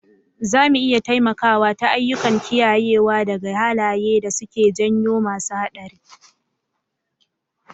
Zamu iya taimakawa ta ayyukan kiyayewa daga halaye da suke janyo masu hatsari